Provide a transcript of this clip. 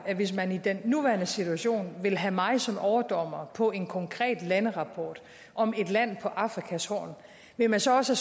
at hvis man i den nuværende situation vil have mig som overdommer på en konkret landerapport om et land på afrikas horn vil man så også